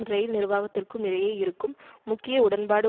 இரயில் நிர்வாகத்திற்கும் இடையே இருக்கும் முக்கிய உடன்பாடு